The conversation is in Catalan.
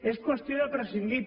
és qüestió de prescindir